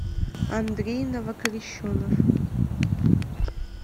андрей новокрещенов